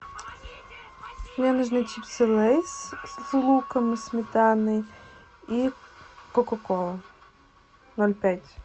мне нужны чипсы лейс с луком и сметаной и кока кола ноль пять